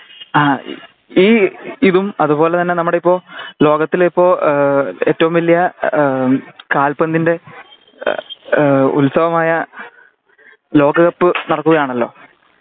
ആ ഈ ഇതും അത്പോലെ തന്നെ നമ്മുടെ ഇപ്പോ ലോകത്തില് ഇപ്പോ ഏഏ ഏറ്റവും വലിയ ഏ കാല്പന്തിന്റെ ഏ ഉൽസവമായ ലോക കപ്പ് നടക്കുകയാണല്ലോ